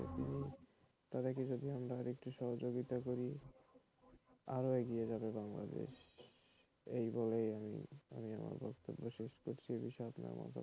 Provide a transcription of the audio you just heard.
তাদেরকে দি আমরা আরো সহযোগিতা করি আরো এগিয়ে যাবে বাংলাদেশএই বলেই আমি আমার বক্তব্য শেষ করছি এ বিষয়ে আপনার মতামত কি?